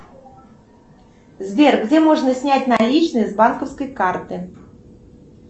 сбер где можно снять наличные с банковской карты